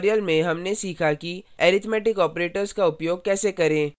इस tutorial में हमने सीखा कि arithmetic operators का उपयोग कैसे करें